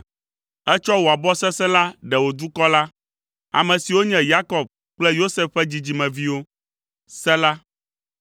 Ètsɔ wò abɔ sesẽ la ɖe wò dukɔ la, ame siwo nye Yakob kple Yosef ƒe dzidzimeviwo. Sela